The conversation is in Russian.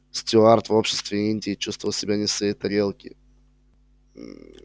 стюарт в обществе индии чувствовал себя не в своей тарелке